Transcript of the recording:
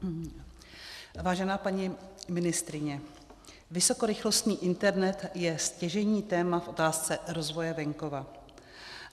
Vážená paní ministryně, vysokorychlostní internet je stěžejní téma v otázce rozvoje venkova.